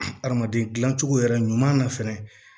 Adamaden dilancogo yɛrɛ ɲuman na fɛnɛ